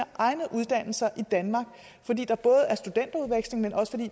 egne uddannelser i danmark fordi